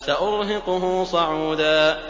سَأُرْهِقُهُ صَعُودًا